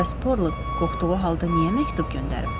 Bəs Porlok qorxduğu halda niyə məktub göndərib?